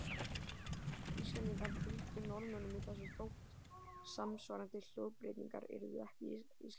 Íslendingar fylgdu Norðmönnum í þessu þótt samsvarandi hljóðbreytingar yrðu ekki í íslensku.